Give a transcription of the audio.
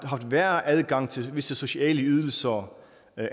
sværere adgang til visse sociale ydelser